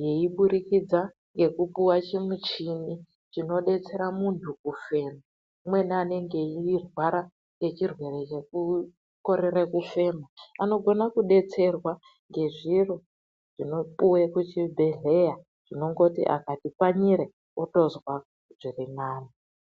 yeiburikidza ngekupiwa chimuchini chinobetsera muntu kufema umweni anenge eyirwara ngechirwere chekukorere kufema anogona kubetserwa nezviro zvinopiwa kuchibhedhleya zvinongoti akati pfanyire otozwa zviri nani